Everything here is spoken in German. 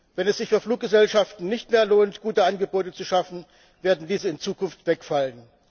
Wenn es sich für Fluggesellschaften nicht mehr lohnt, gute Angebote zu schaffen, werden diese in Zukunft wegfallen.